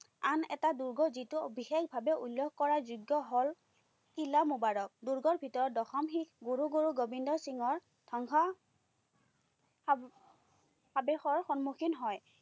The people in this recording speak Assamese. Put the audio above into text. আন এটা দূৰ্গ যিটো বিশেষভাৱে উল্লেখ কৰাৰ যোগ্য হল - শিলা মোবাৰক। দূৰ্গৰ ভিতৰত দশম শিখ গুৰু গোবিন্দ সিঙৰ সংঘ আবেশৰ সন্মুখীন হয়।